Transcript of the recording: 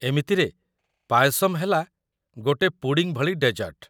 ଏମିତିରେ, ପାୟସମ୍ ହେଲା ଗୋଟେ ପୁଡିଂ ଭଳି ଡେଜର୍ଟ ।